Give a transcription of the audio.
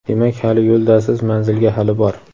demak hali yo‘ldasiz manzilga hali bor.